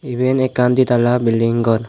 eben ekkan di tala belding gor.